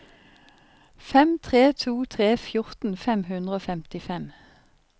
fem tre to tre fjorten fem hundre og femtifem